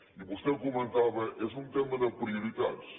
i vostè ho comentava és un tema de prioritats